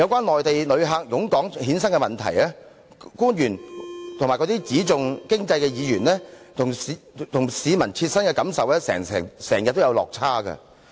內地旅客湧港衍生的問題，官員及只重視經濟的議員與市民的切身感受經常有落差。